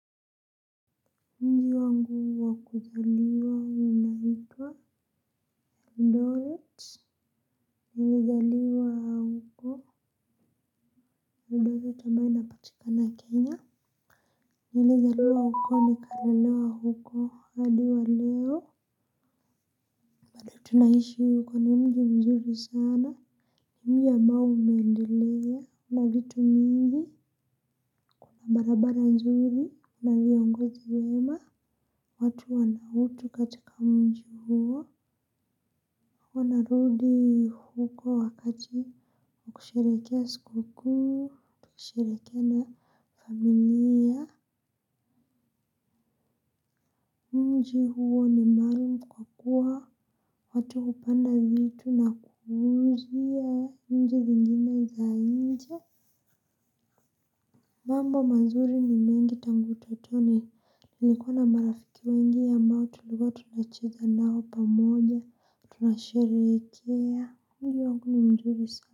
Mji wangu wa kuzaliwa unaitwa Eldoret. Nilizaliwa Eldoret ambayo inapatikana Kenya. Nilzaliwa huko nikalelewa huko hadi wa leo tunaishi huko ni mji mzuri sana. Mji ambao umeendelea na vitu mingi na barabara nzuri na viongozi wema. Watu wana utu katika mji huo huwa narudi huko wakati wa kusherehekea siku kuu kusherehekea na familia. Mji huo ni maalum. Kwa kuwa watu hupanda vitu na kuuzia nchi zingine za nje. Mambo mazuri ni mengi tangu utotoni tulikuwa na marafiki wengi ambao tulikuwa tunacheza nao pamoja tunasherehekea. Mji wangu ni mzuri sana.